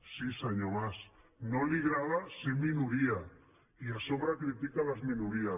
sí senyor mas no li agrada ser minoria i a sobre critica les minories